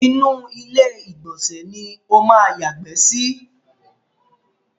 Inú ilé ìgbọ̀nsẹ̀ ni ó máa yàgbẹ́ sí.